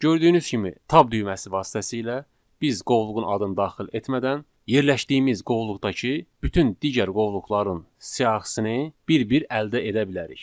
Gördüyünüz kimi tab düyməsi vasitəsilə biz qovluğun adını daxil etmədən yerləşdiyimiz qovluqdakı bütün digər qovluqların siyahısını bir-bir əldə edə bilərik.